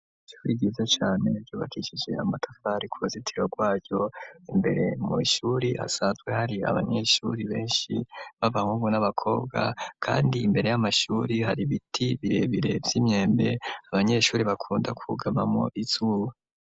Ishuri ryiza cane ryubakishije amatafari ku buzitiro rwayo imbere mw' ishuri hansazwe hari abanyeshuri benshi b'abahungu n'abakobwa kandi imbere y'amashuri hari biti birebire vy'imyembe abanyeshuri bakunda kugama mu izuba.